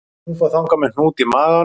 Hún fór þangað með hnút í maganum